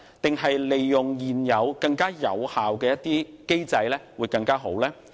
還是利用現有更有效的機制會更好呢？